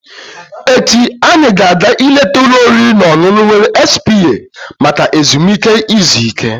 Echi, anyị ga-aga ileta ụlọ oriri na ọṅụṅụ were spa maka ezumike izu ike.